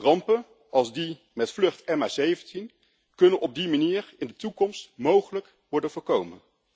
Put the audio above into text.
Rampen als die met vlucht MH17 kunnen op die manier in de toekomst mogelijk worden voorkomen.